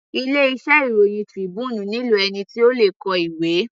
Ilé iṣẹ́ ìròhìn Tribune nílò ẹni tí ó le kọ ìwé.